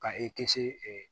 Ka i kisi